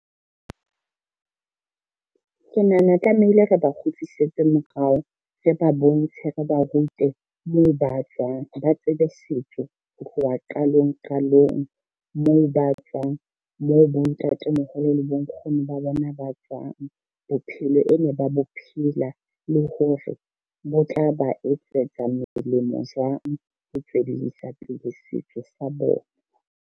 Ke nahana tlamehile re ba kgutlisetse morao, re ba bontshe, re ba rute moo be tswang, ba tsebe setso ho tloha qalong qalong moo ba tswang, moo bontatemoholo le bonkgono ba bona ba tswang. Bophelo e ne ba bo phela le hore bo tla ba etsetsa molemo jwang ho tsweledisa pele setso sa bona.